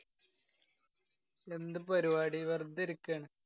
എന്ത് പരുപാടി. വെര്‍തെ ഇരിയ്ക്കാണ്.